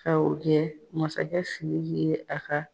Ka o kɛ masakɛ Sidiki ye a ka